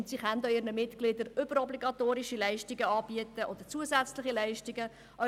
Sie können ihren Mitgliedern auch überobligatorische oder zusätzliche Leistungen anbieten.